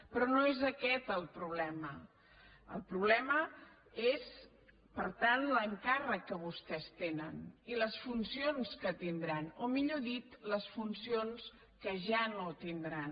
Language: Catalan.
però no és aquest el problema el problema és per tant l’encàrrec que vostès tenen i les funcions que tindran o millor dit les funcions que ja no tindran